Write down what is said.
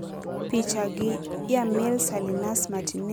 Picha gi Yamil Salinas Martínez mawuok e Flickr.